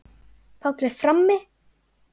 Páll er frammi.